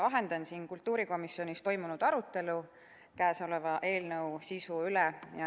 Vahendan siin kultuurikomisjonis toimunud arutelu kõnealuse eelnõu sisu üle.